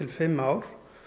fimm ár